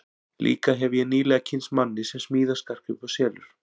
Líka hefi ég nýlega kynnst manni sem smíðar skartgripi og selur.